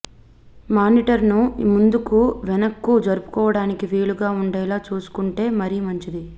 మానిటర్ను ముందుకు వెనక్కు జరుపుకోవటానికి వీలుగా ఉండేలా చూసుకుంటే మరీ మంచిది